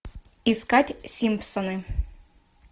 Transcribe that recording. искать симпсоны